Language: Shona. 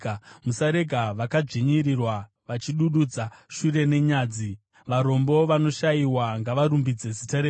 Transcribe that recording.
Musarega vakadzvinyirirwa vachidududza shure nenyadzi; varombo navanoshayiwa ngavarumbidze zita renyu.